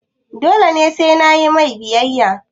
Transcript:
dole ne sai nayi mai biyayya?